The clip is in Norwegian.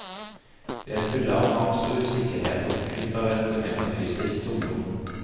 De er fulle av angst og usikkerhet og fylt av et metafysisk tomrom.